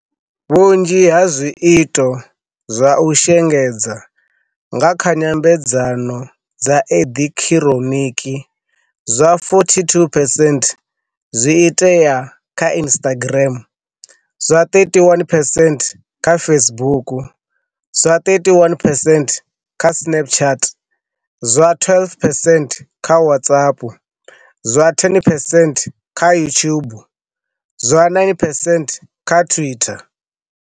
Vhunzhi ha zwiito zwa u shengedza nga kha nyambe dzano dza eḓekiḓhiro niki, zwa 42 percent zwi itea kha Instagram, zwa 31 percent kha Facebook, zwa 31 percent kha Snapchat, zwa 12 percent kha WhatsApp, zwa 10 percent kha YouTube zwa 9 percent kha Twitter.